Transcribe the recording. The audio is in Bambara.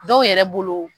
Dɔw yɛrɛ bolo